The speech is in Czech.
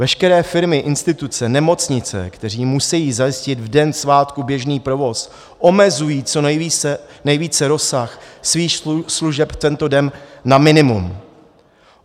Veškeré firmy, instituce, nemocnice, které musejí zajistit v den svátku běžný provoz, omezují co nejvíce rozsah svých služeb tento den na minimum.